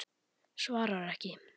Svarar ekki.